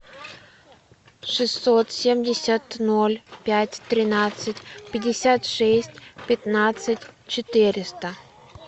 шестьсот семьдесят ноль пять тринадцать пятьдесят шесть пятнадцать четыреста